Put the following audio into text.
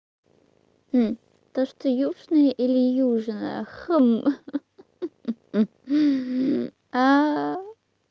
то что южные или южная ха-ха